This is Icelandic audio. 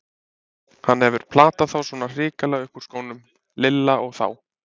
Hann hefur platað þá svona hrikalega upp úr skónum, Lilla og þá!